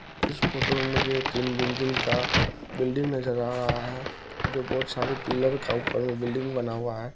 इस फोटो में मुझे तीन मंजिल का बिल्डिंग नजर आ रहा है जो बहुत सारे पिलर का ऊपर में बिल्डिंग बना हुआ है।